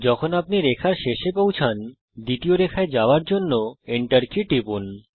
যখন আপনি রেখার শেষে পৌঁছান দ্বিতীয় রেখায় যাওয়ার জন্য এন্টার কি টিপুন